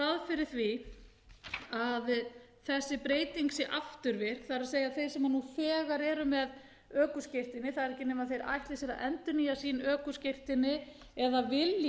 fyrir því að þessi breyting sé afturvirk það er að þeir sem nú þegar eru með ökuskírteini það er ekki nema þeir ætli sér að endurnýja sín ökuskírteini eða vilji